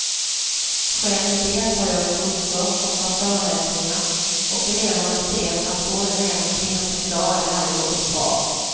Själv deltar jag i kurser och har föreläsningar, och eleverna ser att både män och kvinnor kan klara det här jobbet bra.